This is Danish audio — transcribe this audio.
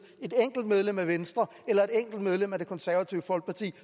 et enkelt medlem af venstre eller et enkelt medlem af det konservative folkeparti